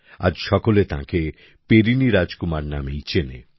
আজ সকলে তাঁকে পেরিনি রাজকুমার নামেই চেনে